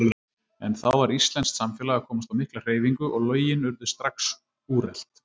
En þá var íslenskt samfélag að komast á mikla hreyfingu, og lögin urðu strax úrelt.